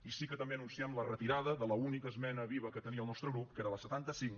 i sí que també anunciem la retirada de l’única esmena viva que tenia el nostre grup que era la setanta cinc